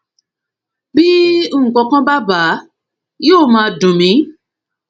bí nǹkankan bá bà á yóò máa dùn mí ni